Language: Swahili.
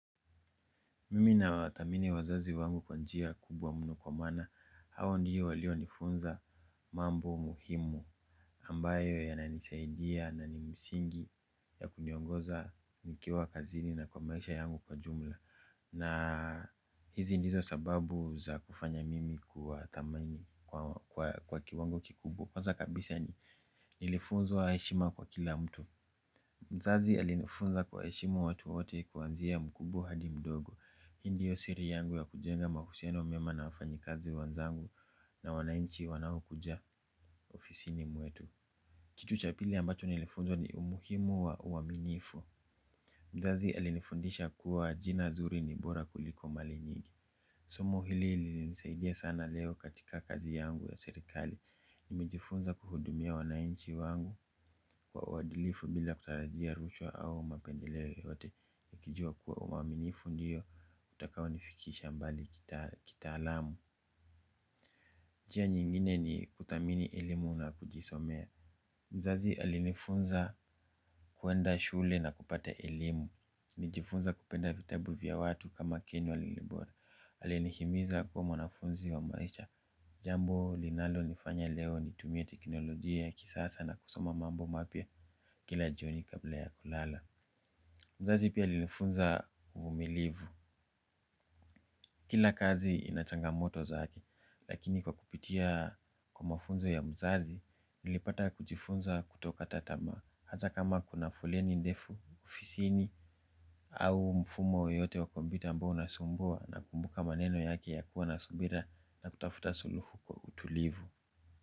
Mimi na wathamini wazazi wangu kwa njia kubwa mno kwa maana hawa ndiyo walio nifunza mambo muhimu ambayo yananisaidia na ni msingi ya kuniongoza nikiwa kazini na kwa maisha yangu kwa jumla. Na hizi ndizo sababu za kufanya mimi kuwa thamani kwa kiwango kikubwa. Kwanza kabisa ni nilifunzwa heshima kwa kila mtu. Mzazi alinifunza kuwaheshimu watu wote kuanzia mkubwa hadi mdogo. Hi ndiyo siri yangu ya kujenga mahusiano mema na wafanyikazi wenzangu na wanainchi wanao kuja ofisini mwetu. Kitu cha pili ambacho nilifunzwa ni umuhimu wa uwaminifu. Mzazi alinifundisha kuwa jina zuri ni bora kuliko mali nyingi. Somo hili ilinisaidia sana leo katika kazi yangu ya serikali. Nimejifunza kuhudumia wanainchi wangu kwa uwadilifu bila kutarajia rushwa au mapendileo yoyote. Kijua kuwa uwaminifu ndio utakao nifikisha mbali kitaalamu njia nyingine ni kuthamini elimu na kujisomea. Mzazi alinifunza kuenda shule na kupata elimu. Nijifunza kupenda vitabu vya watu kama ken walibora. Alinihimiza kuwa mwanafunzi wa maisha. Jambo linalo nifanya leo nitumie teknolojia ya kisasa na kusoma mambo mapya. Kila jioni kabla ya kulala mzazi pia alinifunza uvumilivu. Kila kazi inachangamoto zaki lakini kwa kupitia kwa mafunzo ya mzazi nilipata kujifunza kutokata tamaa hata kama kuna foleni ndefu ofisini au mfumo yoyote wa kompyuta ambao unasumbua nakumbuka maneno yaki ya kuwa na subira na kutafuta suluhu kwa utulivu.